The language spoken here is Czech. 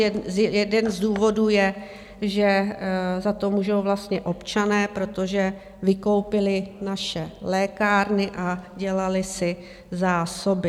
Jedním z důvodů je, že za to můžou vlastně občané, protože vykoupili naše lékárny a dělali si zásoby.